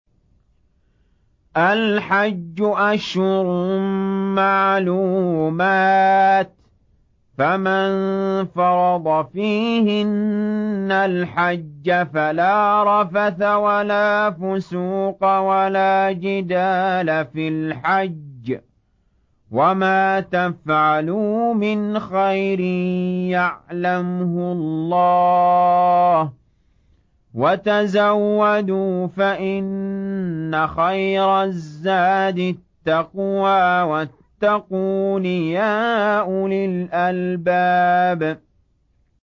الْحَجُّ أَشْهُرٌ مَّعْلُومَاتٌ ۚ فَمَن فَرَضَ فِيهِنَّ الْحَجَّ فَلَا رَفَثَ وَلَا فُسُوقَ وَلَا جِدَالَ فِي الْحَجِّ ۗ وَمَا تَفْعَلُوا مِنْ خَيْرٍ يَعْلَمْهُ اللَّهُ ۗ وَتَزَوَّدُوا فَإِنَّ خَيْرَ الزَّادِ التَّقْوَىٰ ۚ وَاتَّقُونِ يَا أُولِي الْأَلْبَابِ